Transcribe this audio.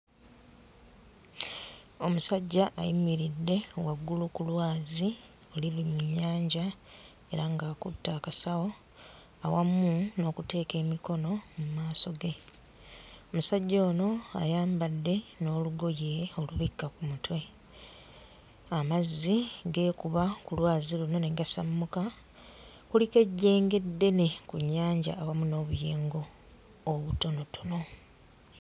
Omusajja ayimiridde waggulu ku lwazi oluli mu nnyanja era ng'akutte akasawo awamu n'okuteeka emikono mu maaso ge. Omusajja ono ayambadde n'olugoye olubikka ku mutwe, amazzi geekuba ku lwazi luno ne gasammuka. Kuliko ejjenge eddene ku nnyanja awamu n'obuyengo obutonotono.